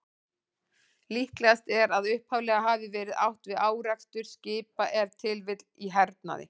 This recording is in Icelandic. Líklegast er að upphaflega hafi verið átt við árekstur skipa, ef til vill í hernaði.